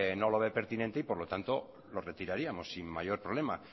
no lo ve pertinente y por lo tanto lo retiraríamos sin mayor problema